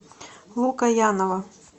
лукоянова